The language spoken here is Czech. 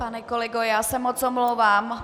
Pane kolego, já se moc omlouvám.